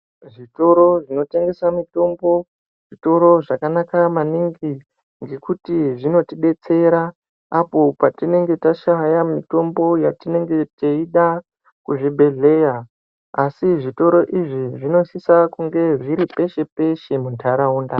Zvitoro zvinotengese mitombo zvitoro zvakanaka maningi ngekuti zvinotidetsera opo patinenge tashaya mitombo yetinenge teyida kuzvibhedhlera asi zvitoro izvi zvinosisa kunge zviri peshe-peshe muntaraunda.